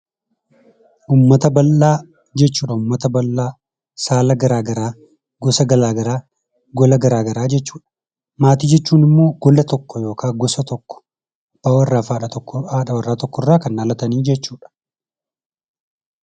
Uummata bal'aa jechuun, uummata saala garaagaraa, gosa garaagaraa, gola garaagaraa jechuudha. Maatii jechuun immoo gola tokko, gosa tokko abbaa warraa fi haadha warraa tokko irraa kan dhalatanidha.